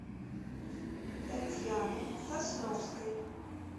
татьяны сосновской